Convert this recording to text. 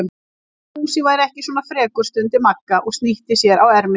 Ég vildi að Fúsi væri ekki svona frekur, stundi Magga og snýtti sér á erminni.